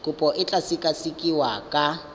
kopo e tla sekasekiwa ka